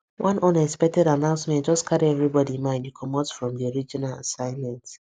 one unexpected announcement just carry everybody mind comot from the original assignment